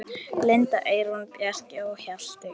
Linda, Eyrún, Bjarki og Hjalti.